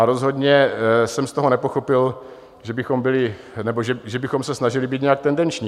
A rozhodně jsem z toho nepochopil, že bychom se snažili být nějak tendenční.